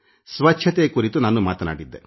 ಸ್ವಚ್ಛತೆ ಕುರಿತು ನಾನು ಮಾತಾಡಿದ್ದೆ